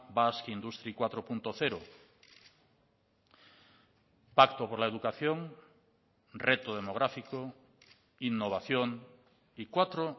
basque industry cuatro punto cero cuatro